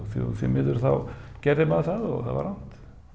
því miður þá gerði maður það og það var rangt